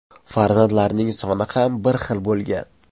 Farzandlarining soni ham bir xil bo‘lgan.